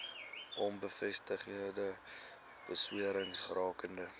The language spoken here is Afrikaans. onbevestigde bewerings rakende